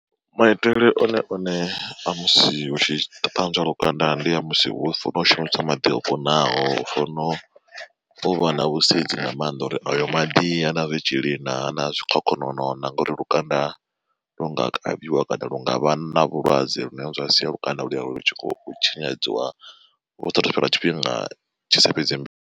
Maitele one one a musi hu tshi ṱanzwa lukanda ndi a musi hu funa shumiswa maḓi o kunaho, hu funo uvha na vhusedzi nga maanḓa uri ayo maḓi ha na zwitzhili ha na zwikhokhonono na ngauri lukanda lu nga kavhiwa kana lu nga vha na vhulwadze lune zwa sia lukanda u lwo lu tshi khou tshinyadziwa hu sathu fhela tshifhinga tshisa fhedzi.